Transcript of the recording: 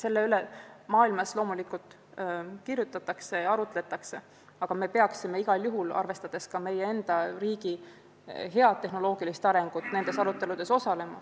Sel teemal maailmas loomulikult kirjutatakse ja arutletakse ning me peaksime, arvestades ka meie riigi head tehnoloogilist arengut, nendes aruteludes osalema.